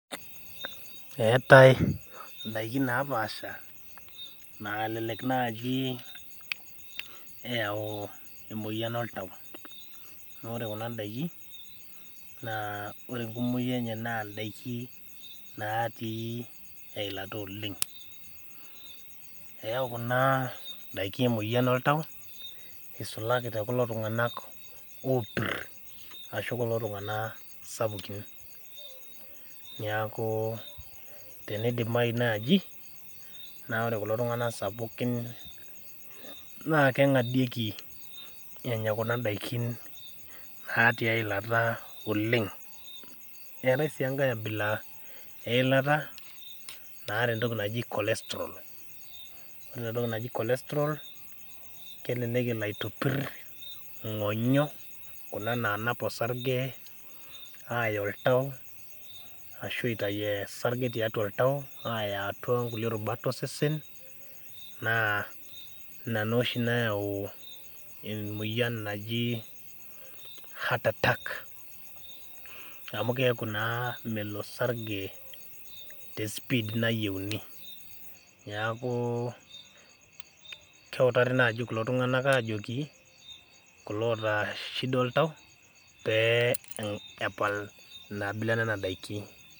Etae ndaiki naapasha nalelek naaji eyau emoyian oltau, naa ore Kuna daiki, naa ore enkumoki enye naaa ndaikin natii eilata oleng, eyau Kuna daikin emoyian oltau isulaki tekulo tunganak opir ashu tekulo tunganak sapukin. neeku tenidimayu naaji naa ore kulo tunganak sapukin naa kengadieki enya kuna daiki natii eilata oleng .eetae sii enkae abila eilata naata entoki naijo cholesterol ore entoki naji cholesterol kelelek elo aitopir ngonyo kuna naanap orsarge aya oltau ashu eitayu orsarge tiatua oltau aaya nkulie rubat osesen naa ina naa oshi nayau emoyian naji Heart attark amu keeku naa melo orsarge tespid nayieuni .neeku keutari naaji kulo tunganak ajoki kulo oota shida oltau pee epal Nena abila enena daiki.